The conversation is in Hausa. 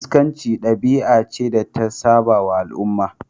Iskanci dabi'a ce da ta sabawa al'umma.